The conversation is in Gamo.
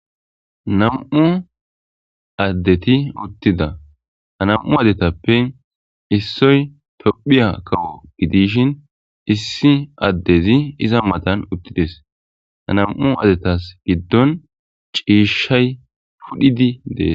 nam7u addeti uttida a nam7u adetappe issoy tophiya kawo gidishin issi addezi iza matan uttides anam7u adetas giddon ciishshay pudhidi dees